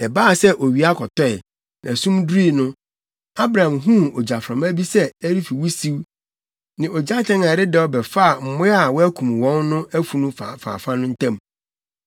Na ɛbaa sɛ owia kɔtɔe, na sum durui no, Abram huu ogyaframa bi sɛ ɛrefi wusiw ne ogyatɛn a ɛredɛw bɛfaa mmoa a wɔakum wɔn no afunu afaafa no ntam.